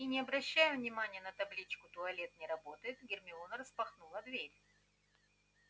и не обращая внимания на табличку туалет не работает гермиона распахнула дверь